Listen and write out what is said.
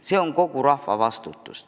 See on kogu rahva vastutus.